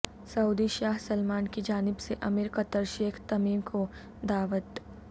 سعودی شاہ سلمان کی جانب سے امیر قطر شیخ تمیم کو دعوت